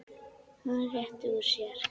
Hann réttir úr sér.